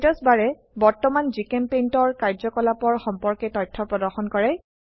status বাৰে বৰ্তমান GChemPaintৰ কাৰ্যকলাপৰ সম্পৰ্কে তথ্য প্ৰদৰ্শন কৰে